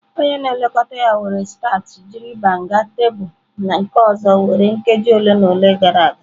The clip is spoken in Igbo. Onye na-elekọta ya were starch jiri banga tebụl nke ọzọ were nkeji ole na ole gara aga.